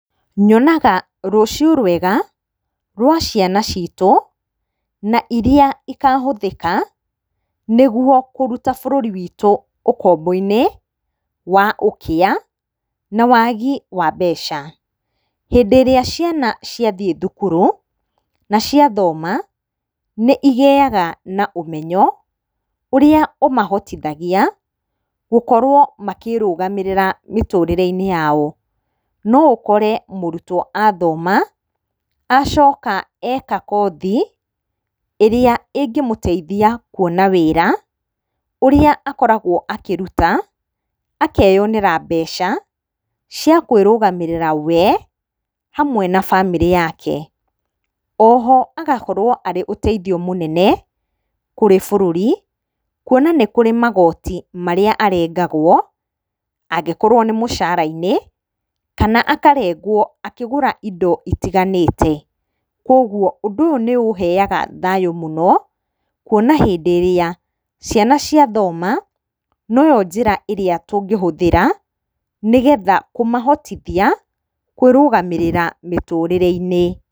Nyonaga rũciũ rwega rwa ciana citũ na iria ikahũthĩka nĩ guo kũruta bũrũri witũ ũkombo-inĩ wa ũkĩa na waagi wa mbeca. Hĩndĩ ĩrĩa ciana ciathiĩ thukuru na cia thoma, nĩ igĩaga na ũmenyo, ũrĩa ũmahotithagia gũkorwo makĩrũgamĩrĩra mĩtũrĩre-inĩ yao. No ũkore mũrutwo athoma acoka eka kothi ĩrĩa ĩngĩmũteithia kuona wĩra ũrĩa akoragwo akĩruta akeyonera mbeca cia kwĩrugamĩrĩra we hamwe na bamĩrĩ yake. Oho agakorwo arĩ ũteithio mũnene kũrĩ bũrũri, kuona nĩ kũrĩ magoti marĩa arengagwo angĩkorwo nĩ mũcara-inĩ kana akarengwo akĩgũra indo itiganĩte. Kũguo ũndũ ũyũ nĩ ũheaga thayũ mũno, kuona hĩndĩ ĩrĩa ciana cia thoma, noyo njĩra ĩrĩa tũngĩhũthĩra nĩ getha kũmahotithia kũĩrũgamĩrĩra mĩtũrĩre-ine.